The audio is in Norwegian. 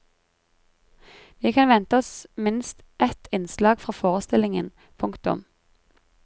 Vi kan vente oss minst et innslag fra forestillingen. punktum